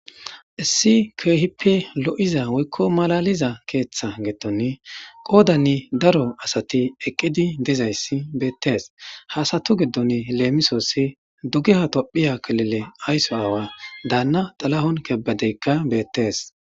Issi keehippi lo7iza woykko malaliza keeththa giddoni qoodanni daro asati eqqidi dizayssi beettees. Ha asatu giddon leemisoossi dugeha tophiya kalile aysso aawa daanna xalahon kebadeykka beettes.